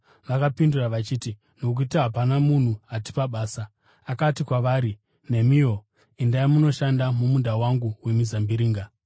“Vakapindura vachiti, ‘Nokuti hapana munhu atipa basa.’ “Akati kwavari, ‘Nemiwo endai mundoshanda mumunda wangu wemizambiringa.’